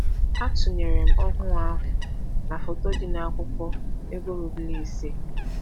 Atụnyere m ọhụụ ahụ na foto dị na akwụkwọ ego ruble ise.